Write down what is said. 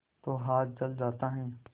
तो हाथ जल जाता है